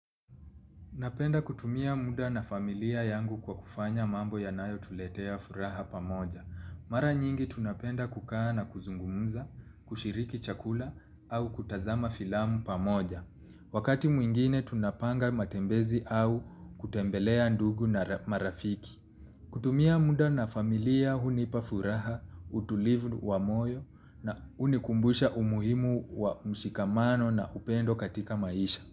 Napenda kutumia muda na familia yangu kwa kufanya mambo yanayotuletea furaha pamoja. Mara nyingi tunapenda kukaa na kuzungumuza, kushiriki chakula au kutazama filamu pamoja. Wakati mwengine tunpanga matembezi au kutembelea ndugu marafiki. Kutumia muda na familia hunipa furaha, utulivu wa moyo na hunikumbusha umuhimu wa mshikamano na upendo katika maisha.